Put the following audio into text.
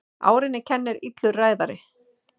Árinni kennir illur ræðari.